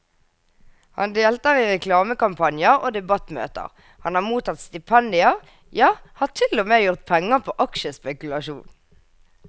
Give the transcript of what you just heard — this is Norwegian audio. Han deltar i reklamekampanjer og debattmøter, han har mottatt stipendier, ja har til og med gjort penger på aksjespekulasjon.